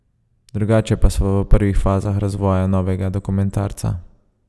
Drugače pa sva v prvih fazah razvoja novega dokumentarca.